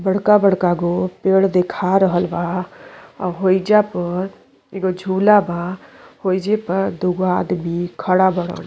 बड़का बड़का गो पेड़ दिखा रहल बा और होइजा पर एगो झूला बा ओहिजे पर दूगो आदमी खड़ा बारन।